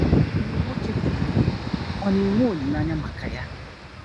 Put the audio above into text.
Mgbe nwoke hụrụ ihe, ọ̀ na-enwe olileanya maka ya?